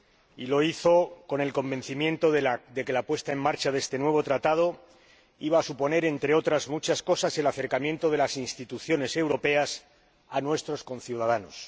Y lo hizo con el convencimiento de que la puesta en marcha de este nuevo Tratado iba a suponer, entre otras muchas cosas, el acercamiento de las instituciones europeas a nuestros conciudadanos.